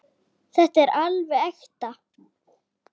Þetta er alveg ekta.